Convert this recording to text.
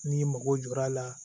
N'i mago jɔr'a la